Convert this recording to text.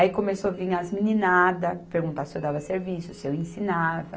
Aí começou a vir as meninadas perguntar se eu dava serviço, se eu ensinava.